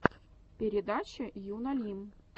передача юна лим